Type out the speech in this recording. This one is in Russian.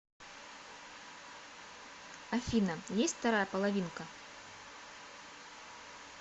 афина есть вторая половинка